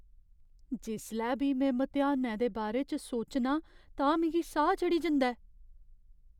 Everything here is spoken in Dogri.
जिसलै बी में मतेहानै दे बारे च सोचनां तां मिगी साह् चढ़ी जंदा ऐ।